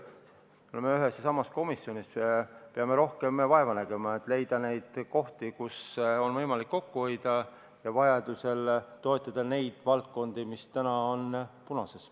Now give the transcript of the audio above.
Me oleme ühes ja samas komisjonis, me peame rohkem vaeva nägema, et leida neid kohti, kus on võimalik kokku hoida, ja vajaduse korral toetada neid valdkondi, mis täna on punases.